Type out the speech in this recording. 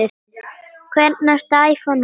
Hvernig ertu að æfa núna?